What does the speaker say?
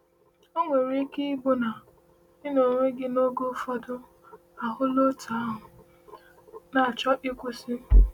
O nwere ike ịbụ na ị n’onwe gị n’oge ụfọdụ ahụla otú ahụ—na-achọ ịkwụsị.